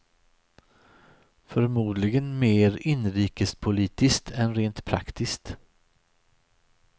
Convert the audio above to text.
Förmodligen mer inrikespolitiskt än rent praktiskt.